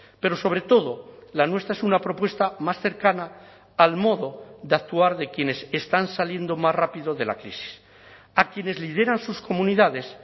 pero sobre todo la nuestra es una propuesta más cercana al modo de actuar de quienes están saliendo más rápido de la crisis a quienes lideran sus comunidades